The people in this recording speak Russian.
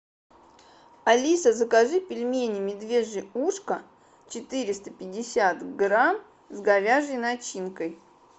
алиса закажи пельмени медвежье ушко четыреста пятьдесят грамм с говяжьей начинкой